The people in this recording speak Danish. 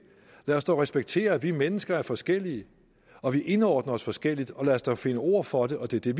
lad os dog respektere at vi mennesker er forskellige og at vi indordner os forskelligt og lad os dog finde ord for det og det det